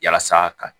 Yalasa ka